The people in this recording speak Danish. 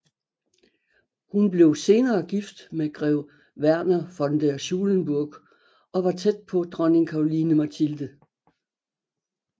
Hun blev senere gift med grev Werner von der Schulenburg og var tæt på dronning Caroline Mathilde